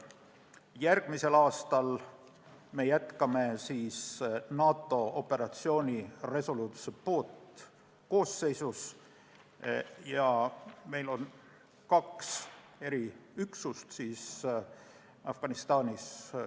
Järgmisel aastal jätkame NATO organisatsiooni Resolute Support koosseisus ja meil on kaks eriüksust Afganistanis.